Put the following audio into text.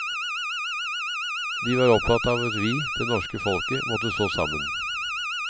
De var opptatt av at vi, det norske folket, måtte stå sammen.